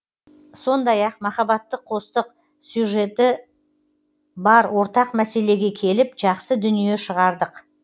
сондай ақ махаббатты қостық сюжеті бар ортақ мәселеге келіп жақсы дүние шығардық